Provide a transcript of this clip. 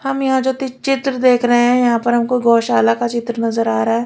हम यहां जो चित्र देख रहे हैं यहां पर हमको गौशाला का चित्र नजर आ रहा है।